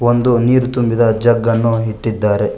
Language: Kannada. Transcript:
ಒಂದು ನೀರು ತುಂಬಿದ ಜಗ್ಗ ಅನ್ನು ಇಟ್ಟಿದ್ದಾರೆ.